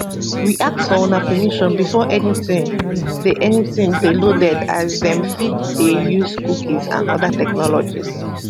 we ask for una permission before anytin dey anytin dey loaded as dem fit dey use cookies and oda technologies